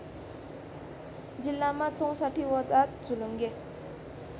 जिल्लामा ६४वटा झोलुङ्गे